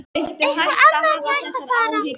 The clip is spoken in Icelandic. Eitthvað annað en að ég ætti að fara.